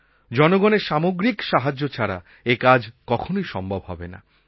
জনগণের সামগ্রিক সাহায্য ছাড়া এ কাজ কখনই সম্ভব হবে না